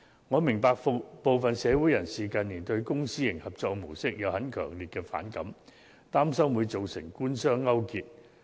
我明白部分社會人士近年對公私營合作模式有很強烈的反感，擔心會造成官商勾結。